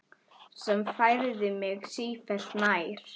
Sem færði mig sífellt nær